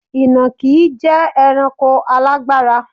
Ìnàkí jẹ́ ẹranko alágbára.